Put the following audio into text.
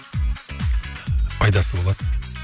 пайдасы болады